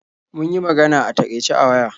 Mun yi magana a takaice a waya.